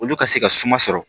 Olu ka se ka suma sɔrɔ